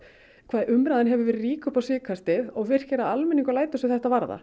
hvað umræðan hefur verið rík upp á síðkastið og almenningur lætur sig þetta varða